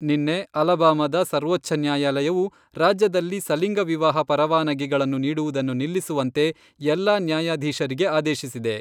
ನಿನ್ನೆ ಅಲಬಾಮಾದ ಸರ್ವೋಚ್ಛ ನ್ಯಾಯಾಲಯವು ರಾಜ್ಯದಲ್ಲಿ ಸಲಿಂಗ ವಿವಾಹ ಪರವಾನಗಿಗಳನ್ನು ನೀಡುವುದನ್ನು ನಿಲ್ಲಿಸುವಂತೆ ಎಲ್ಲಾ ನ್ಯಾಯಾಧೀಶರಿಗೆ ಆದೇಶಿಸಿದೆ.